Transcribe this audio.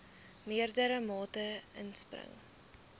meerdere mate inspring